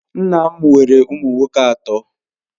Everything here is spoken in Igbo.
Nna m nwere ụmụ nwoke atọ.